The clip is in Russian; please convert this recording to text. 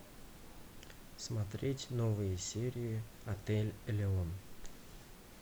смотреть новые серии отель элеон